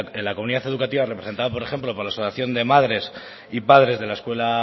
en la comunidad educativa representada por ejemplo por la asociación de madres y padres de la escuela